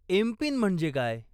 MPIN म्हणजे काय?